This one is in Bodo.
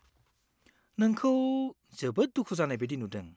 नोंखौ जोबोद दुखु जानाय बायदि नुदों।